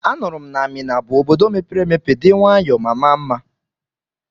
Anụrụ m na Mina bụ Obodo mepere emepe dị nwayọọ ma maa mma.